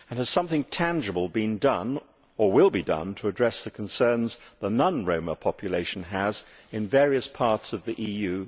And has something tangible been done or will it be done to address the concerns the non Roma population still has in various parts of the EU?